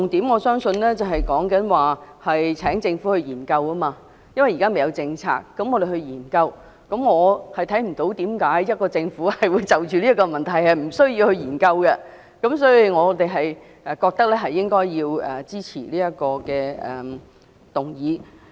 "我相信重點是請政府研究；因為現時未有政策，我們便要研究，我看不到為何政府無須就此問題進行研究，所以，我們認為要支持這項議案。